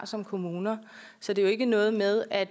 som kommune har så det er jo ikke noget med at